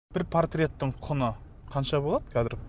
бір портреттің құны қанша болады қазір